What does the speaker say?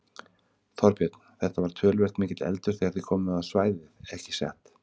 Þorbjörn: Þetta var töluvert mikill eldur þegar þið komuð á svæðið ekki satt?